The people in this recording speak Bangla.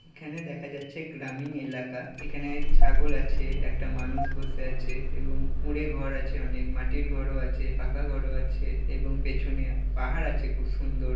এখানে দেখা যাচ্ছে গ্রামীণ এলাকা। এখানে ছাগল আছে একটা মানুষ বসে আছে এবং কুড়ে ঘর আছে অনেক মাটির ঘর ও আছে পাকা ঘর ও আছে এবং পেছনে পাহাড় আছে খুব সুন্দর।